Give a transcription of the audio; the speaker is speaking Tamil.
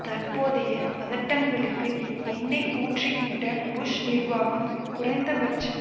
தற்போதைய பதட்டங்களுக்கு எண்ணெய் ஊற்றி விட்ட புஷ் நிர்வாகம் குறைந்த பட்சம்